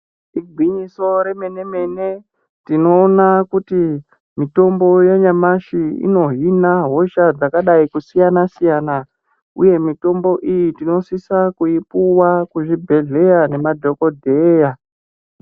Igwinyiso remene mene tinoona kuti mitombo yanyamashi inohina hosha yakadai kusiyana siyana uye mitombo iyi tinosisa kuipuwa kuzvibhedhlera nemadhokodheya.